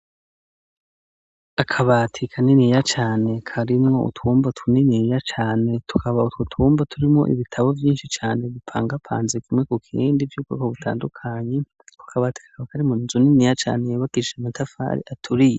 Akabati kaniniya cane karimo utwumba tuniniya cane tukaba utwo tumba turimo ibitabo vyinshi cane bipangapanzi kumwe ku kindi vy'bwoko butandukanyi ku akabati ka karimunzu niniya cane yubakishise amatafari aturiye.